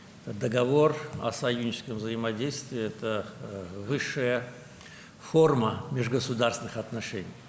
Müttəfiqlik qarşılıqlı fəaliyyəti haqqında bu müqavilə dövlətlərarası münasibətlərin ali formasıdır.